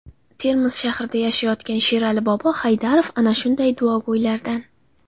Termiz shahrida yashayotgan Sherali bobo Haydarov ana shunday duogo‘ylardan.